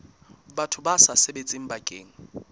batho ba sa sebetseng bakeng